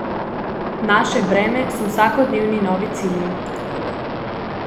Naše breme so vsakodnevni novi cilji.